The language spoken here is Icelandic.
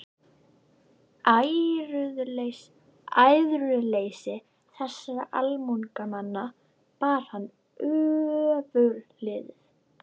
Æðruleysi þessara almúgamanna bar hann ofurliði.